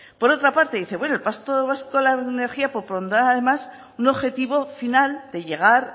por otra parte dice bueno el pacto vasco de la energía propondrá además un objetivo final de llegar